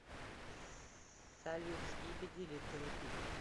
салют скибиди литл биг